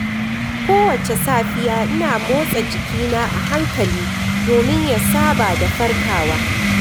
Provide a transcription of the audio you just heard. Kowace safiya, ina motsa jikina a hankali domin ya saba da farkawa.